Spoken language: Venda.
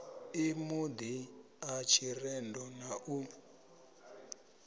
ḽimudi ḽa tshirendo na u